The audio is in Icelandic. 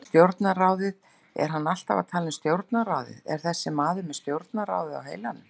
Stjórnarráðið, er hann alltaf að tala um stjórnarráðið, er þessi maður með stjórnarráðið á heilanum?